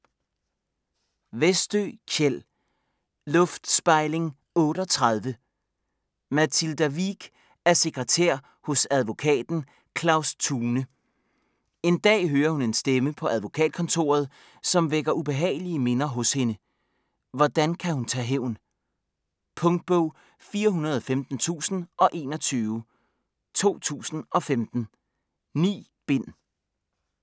Westö, Kjell: Luftspejling 38 Mathilda Wiik er sekretær hos advokaten Claus Thune. En dag hører hun en stemme på advokatkontoret, som vækker ubehagelige minder hos hende. Hvordan kan hun tage hævn? Punktbog 415021 2015. 9 bind.